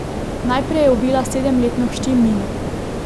Najprej je ubila sedem letno hči Mino.